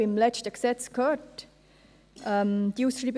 Beim letzten Gesetz hörten wir einige Voten.